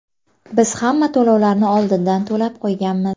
Biz hamma to‘lovlarni oldindan to‘lab qo‘yganmiz.